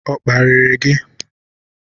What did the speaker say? Ọ kparirị gị?